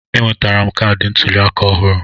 Enwetara m kaadị ntuli aka ọhụrụ.